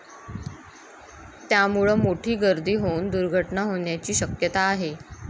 त्यामुळं मोठी गर्दी होऊन दुर्घटना होण्याची शक्यता आहे.